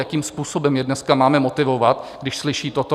Jakým způsobem je dneska máme motivovat, když slyší toto?